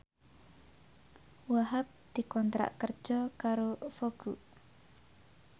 Wahhab dikontrak kerja karo Vogue